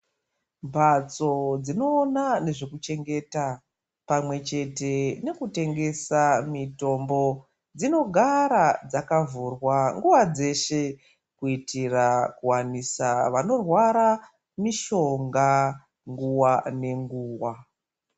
Mbatso dzinoona nezvekuchengeta ,pamwe chete nekutengesa mitombo, dzinogara dzakavhurwa nguva dzeshe, kuitira kuwanisa vanorwara mishonga ,nguwa nenguwa.